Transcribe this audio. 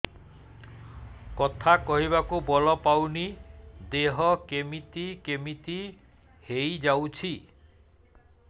କଥା କହିବାକୁ ବଳ ପାଉନି ଦେହ କେମିତି କେମିତି ହେଇଯାଉଛି